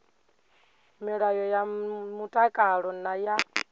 milayo ya mtakalo na ya